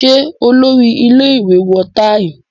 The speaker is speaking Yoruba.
Ṣé Olórí-ile ìwé wọ táì?